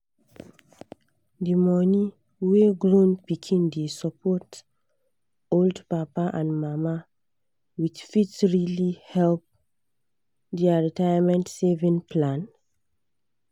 the money wey grown pikin dey support old papa and mama with fit really help their retirement savings plan.